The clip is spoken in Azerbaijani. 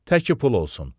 Təki pul olsun.